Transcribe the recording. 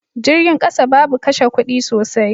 Jirgin kasa babu kashe kudi sosai.